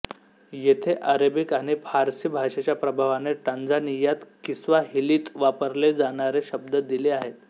येथे आरेबिक आणि फ़ार्सि भाषेच्या प्रभावाने टांझानियात किस्वाहिलीत वापरले जाणारे शब्द दिले आहेत